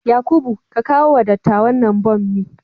Yakubu, ka kawo wa dattawan nan bommi